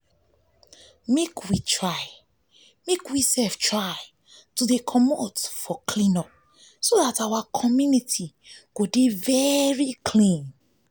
make we try to dey come out for clean up so dat our community go dey clean